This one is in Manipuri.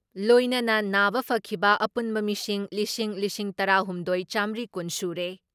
ꯂꯣꯏꯅꯅ ꯅꯥꯕ ꯐꯈꯤꯕ ꯑꯄꯨꯟꯕ ꯃꯁꯤꯡ ꯂꯤꯁꯤꯡ ꯂꯤꯁꯤꯡ ꯇꯔꯥ ꯍꯨꯝꯗꯣꯏ ꯆꯥꯃꯔꯤ ꯀꯨꯟ ꯁꯨꯔꯦ ꯫